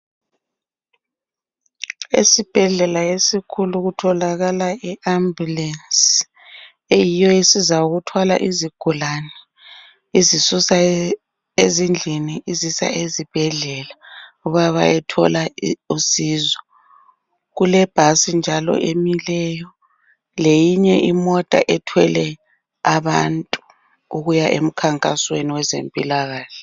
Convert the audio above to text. Esibhedlela esikhulu kutholakala iambulensi eyiyo esiza ukuthwala izigulane izisusa ezindlini izisa ezibhedlela bayethola usizo. Kulebhasi njalo emileyo leyinye imota ethwele abantu ukuya emkhankasweni wezempilakahle.